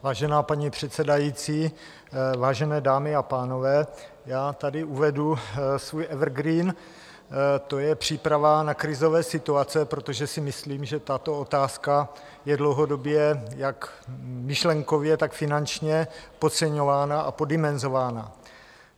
Vážená paní předsedající, vážené dámy a pánové, já tady uvedu svůj evergreen, to je příprava na krizové situace, protože si myslím, že tato otázka je dlouhodobě jak myšlenkově, tak finančně podceňována a poddimenzována.